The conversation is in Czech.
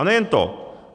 A nejen to.